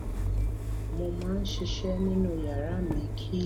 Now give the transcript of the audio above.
mo máa n ṣiṣẹ nínú yàrá mi kí